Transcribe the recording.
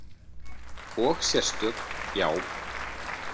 Og sérstök, já.